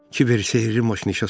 Kiber sehri maşını işə saldı.